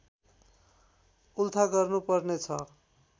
उल्था गर्नुपर्ने छ